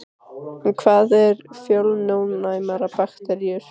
En hvað eru fjölónæmar bakteríur?